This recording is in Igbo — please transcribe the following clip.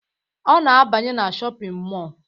Ọ na-abanye na shọpịn mọọ